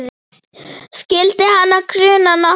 Skyldi hana gruna nokkuð?